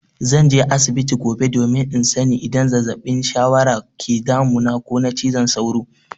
Zan je asibiti gobe domin in sani idan zazzabin shawara ke damuna ko na cizon sauro.